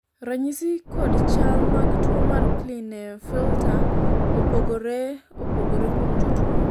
ranyisi kod chal mag tuo mar klinefelter opogore opogore kuom jotuo